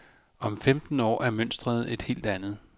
Om femten år er mønsteret et helt andet.